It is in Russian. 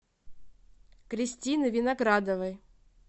кристины виноградовой